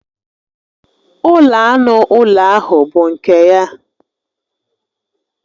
Ụlọ anụ ụlọ ahụ bụ nke ya